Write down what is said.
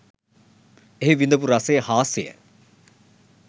එහි විඳපු රසය හාස්‍යය